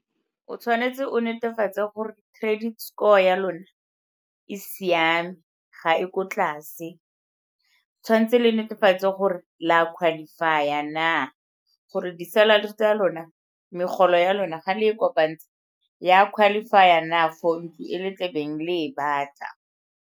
O tshwanetse o netefatse gore credit score ya lona e siame, ga e ko tlase. Tshwanetse le netefatse gore le a qualify-a na gore di-salary tsa lona, megolo ya lona ga le e kopantsha e a qualify-a na for ntlu e le tlebeng le e batla.